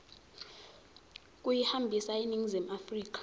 kuyihambisa eningizimu afrika